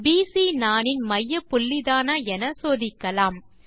PC நாணின் மையப்புள்ளிதானா என சோதிக்கலாம்